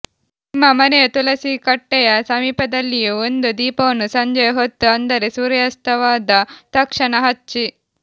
ನಿಮ್ಮ ಮನೆಯ ತುಳಸಿ ಕಟ್ಟೆಯ ಸಮೀಪದಲ್ಲಿಯೂ ಒಂದು ದೀಪವನ್ನು ಸಂಜೆಯ ಹೊತ್ತು ಅಂದರೆ ಸೂರ್ಯಾಸ್ತವಾದ ತಕ್ಷಣ ಹಚ್ಚಿ